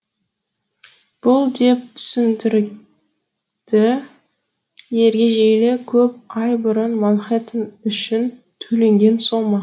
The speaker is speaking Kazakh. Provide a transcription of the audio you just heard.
бұл деп түсіндірді ергежейлі көп ай бұрын манхэттен үшін төленген сомма